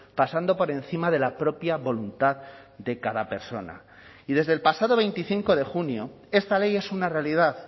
pasando por encima de la propia voluntad de cada persona y desde el pasado veinticinco de junio esta ley es una realidad